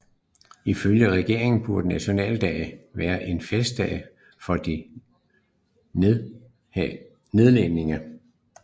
Ifølge regeringen burde Naturalisatiedag være en festdag for de nye nederlændere